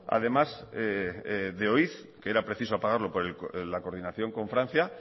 además oiz que era preciso apagarlo por la coordinación con francia